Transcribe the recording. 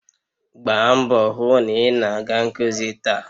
Gbaa mbọ hụ na ị na-aga nkuzi taa!